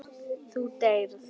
Þú deyrð.